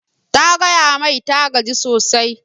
Ta gaya mai ta gaji sosai